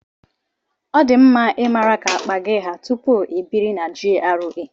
Ọ di mma ị mara ka akpa gị haa tupu ị biri na GRA.